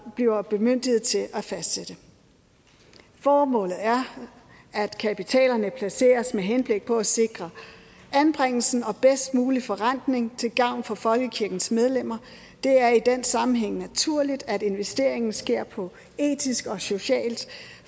bliver bemyndiget til at fastsætte formålet er at kapitalen placeres med henblik på at sikre anbringelsen og den bedst mulige forrentning til gavn for folkekirkens medlemmer det er i den sammenhæng naturligt at investeringen sker på et etisk og socialt